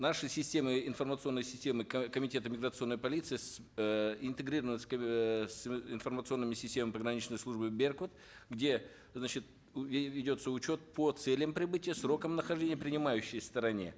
наши системы информационные системы комитета миграционной полиции с э интегрированы с э с информационными системами пограничной службы беркут где значит ведется учет по целям прибытия срокам нахождения принимающей стороне